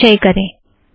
आओ संचय करें